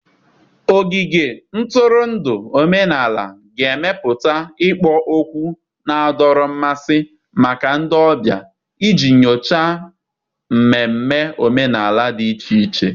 Ogige ntụrụndụ omenala ga-emepụta ikpo okwu na-adọrọ mmasị maka ndị ọbịa iji nyochaa mmemme omenala dị iche iche.